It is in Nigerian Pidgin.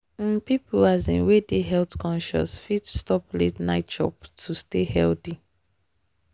um people um wey dey health-conscious fit stop late-night chop to stay healthy.